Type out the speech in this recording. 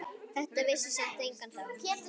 Þetta vissi samt enginn þá.